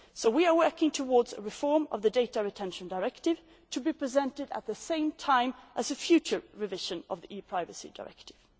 So we are working towards a reform of the Data Retention Directive to be presented at the same time as the future revision of the ePrivacy Directive.